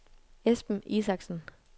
Esben Isaksen